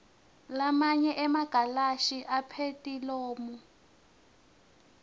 lamanye emagalashi aphethilomu